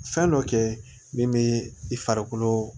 Fɛn dɔ kɛ min bɛ i farikolo